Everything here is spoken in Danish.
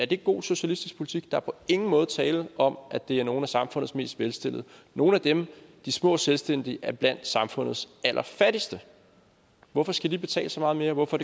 det god socialistisk politik er på ingen måde tale om at det er nogle af samfundets mest velstillede nogle af dem de små selvstændige er blandt samfundets allerfattigste hvorfor skal de betale så meget mere hvorfor